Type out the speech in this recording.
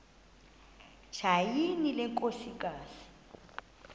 tyhini le nkosikazi